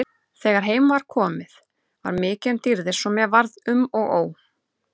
Þegar heim kom var mikið um dýrðir svo mér varð um og ó.